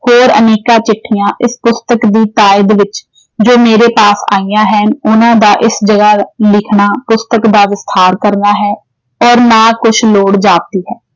ਹੋਰ ਅਨੇਕਾਂ ਚਿੱਠੀਆਂ ਇਸ ਪੁਸਤਕ ਦੀ ਤਾਈਦ ਵਿੱਚ ਜੋ ਮੇਰੇ ਪਾਸ ਆਇਆਂ ਹਨ ਉਨ੍ਹਾਂ ਦਾ ਇਸ ਜਗ੍ਹਾ ਲਿਖਣਾ ਪੁਸਤਕ ਦਾ ਕਰਨਾ ਹੈ ਔਰ ਨਾ ਕੁਝ ਲੋੜ ਜਾਪਦੀ ਹੈ